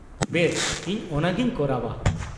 -ᱵᱮᱥ, ᱤᱧ ᱚᱱᱟᱜᱤᱧ ᱠᱚᱨᱟᱣᱼᱟ ᱾